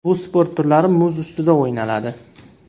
Bu sport turlari muz ustida o‘ynaladi.